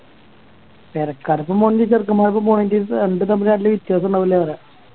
പേരക്കാർക്കൊപ്പം പോണെങ്കി ചെക്കൻമ്മാർക്കൊപ്പം പോണെങ്കി രണ്ടും തമ്മില് നല്ല വ്യതാസുണ്ടാവൂലെന്ന് പറയാ